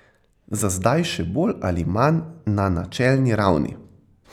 Za zdaj še bolj ali manj na načelni ravni.